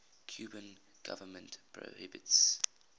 cuban government prohibits